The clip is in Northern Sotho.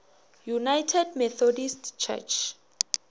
united methodist church